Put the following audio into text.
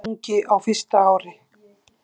Súluungi á fyrsta ári.